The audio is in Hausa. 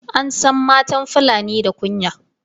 An san matan fulani da kunya